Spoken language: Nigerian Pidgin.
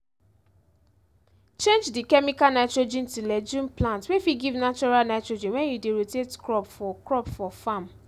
change di chemical nitrogen to legume plant wey fit give natural nitrogen wen you dey rotate crop for crop for farm